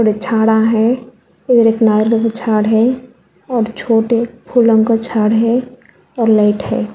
झाड़ा है उधर एक नाले पे झाड़ है और छोटे फूलों का झाड़ है और लाइट है।